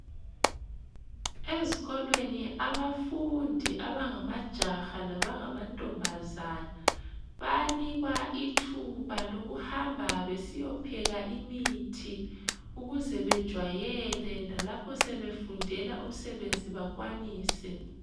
Ezikolweni abafundi abangamajaha labangamantombazana, bayanikwa ithuba lokuhamba besiyopheka imithi, ukuze bejwayele lalapho sebefundela umsebenzi bakwanise.